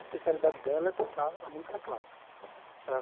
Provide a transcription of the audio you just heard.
A especialidade dela é tocar a música clássica certo